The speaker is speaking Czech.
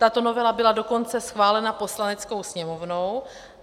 Tato novela byla dokonce schválena Poslaneckou sněmovnou.